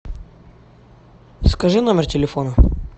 скажи номер телефона